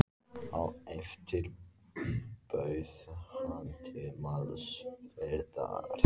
Á eftir bauð hann til málsverðar.